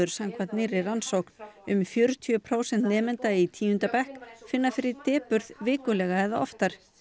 samkvæmt nýrri rannsókn um fjörutíu prósent nemenda í tíunda bekk finna fyrir depurð vikulega eða oftar